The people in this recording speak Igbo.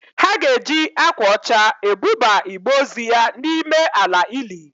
Ha ga-eji akwa ọcha ebuba igbe ozu ya n'ime ala ili?